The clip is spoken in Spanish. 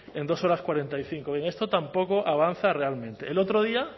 en dos horas cuarenta y cinco bien esto tampoco avanza realmente el otro día